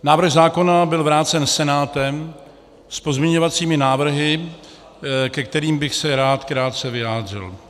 Návrh zákona byl vrácen Senátem s pozměňovacími návrhy, ke kterým bych se rád krátce vyjádřil.